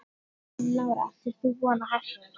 Lára: Áttir þú von á þessu?